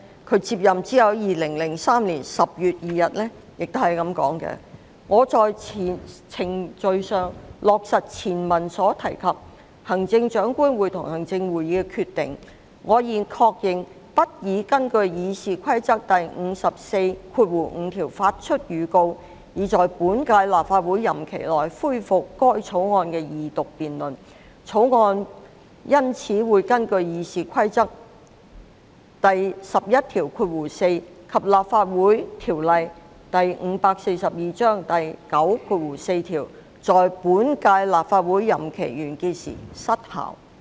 他接任後，在2003年10月2日表示："為在程序上落實前文所提及，行政長官會同行政會議的決定，我現確認我不擬根據《議事規則》第545條發出預告，以在本屆立法會任期內恢復該草案的二讀辯論。草案因此會根據《議事規則》第114條及《立法會條例》第94條，在本屆立法會任期完結時失效。